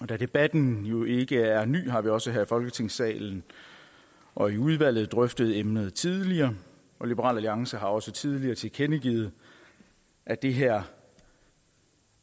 da debatten jo ikke er ny har vi også her i folketingssalen og i udvalget drøftet emnet tidligere og liberal alliance har også tidligere tilkendegivet at det her